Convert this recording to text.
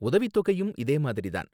உதவித் தொகையும் இதே மாதிரி தான்.